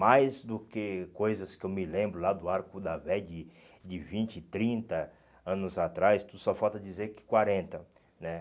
Mais do que coisas que eu me lembro lá do Arco da Vé de de vinte, trinta anos atrás, só falta dizer que quarenta, né?